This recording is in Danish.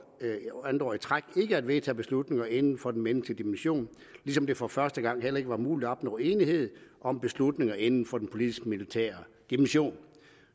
år i træk ikke at vedtage beslutninger inden for den menneskelige dimension ligesom det for første gang heller ikke var muligt at opnå enighed om beslutninger inden for den politisk militære dimension